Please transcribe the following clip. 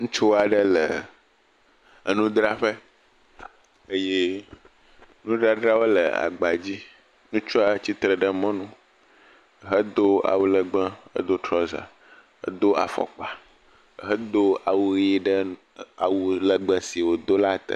Ŋutsu aɖe le enudraƒe eye nudadrawo le agbadzi. Ŋutsua tsi tre ɖe mɔnu hdo awu lɛgbɛ, edo trɔza, edo fɔkpa, hedo awu ʋi ɖe awu lɛgbɛ si wòdo la te